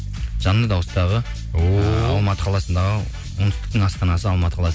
жанды дауыстағы алматы қаласындағы оңтүстіктің астанасы алматы қаласы